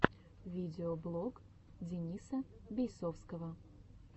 видеоблог дениса бейсовского